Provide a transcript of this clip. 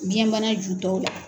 Biyɛnbana jutɔw la.